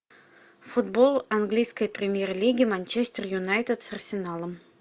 футбол английской премьер лиги манчестер юнайтед с арсеналом